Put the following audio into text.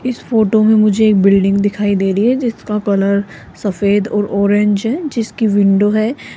इस फोटो में मुझे एक बिल्डिंग दिखाई दे रही है जिसका कलर सफेद ऑरेंज है जिसकी विंडो है --